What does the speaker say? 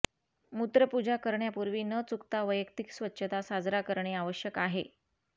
मूत्र पुजा करण्यापूर्वी न चुकता वैयक्तिक स्वच्छता साजरा करणे आवश्यक आहे